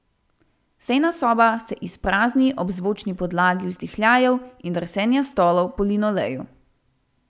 Sejna soba se izprazni ob zvočni podlagi vzdihljajev in drsanja stolov po linoleju.